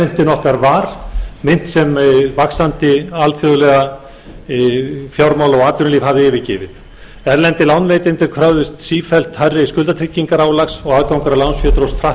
okkar var mynt sem vaxandi alþjóðleg fjármála og atvinnulíf hafði yfirgefið erlendir lánveitendur kröfðust sífellt hærri skuldatryggingaálags og aðgangur að lánsfé dróst hratt saman alþjóðleg matsfyrirtæki ráðlögðu